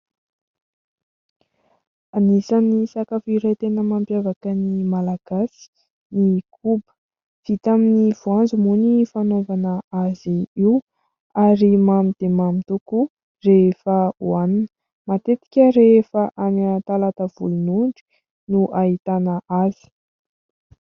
Anisany sakafo iray tena mampiavaka ny Malagasy ny koba. Vita amin'ny voanjo moa ny fanaovana azy io ary mamy dia mamy tokoa rehefa hohanina, matetika rehefa any Talatan'ny volon'ondry no ahitana azy.